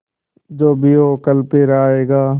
जो भी हो कल फिर आएगा